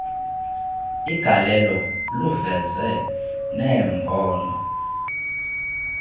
igalelo luveze neembono